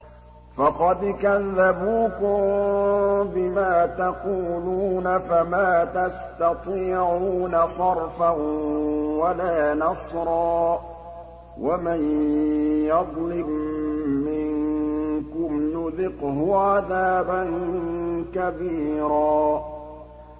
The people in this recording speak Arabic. فَقَدْ كَذَّبُوكُم بِمَا تَقُولُونَ فَمَا تَسْتَطِيعُونَ صَرْفًا وَلَا نَصْرًا ۚ وَمَن يَظْلِم مِّنكُمْ نُذِقْهُ عَذَابًا كَبِيرًا